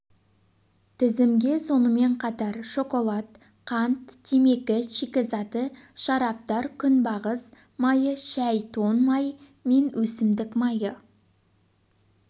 тізімге сонымен қатар шоколад қант темекі шикізаты шараптар күнбағыс майы шәй тоң май мен өсімдік майы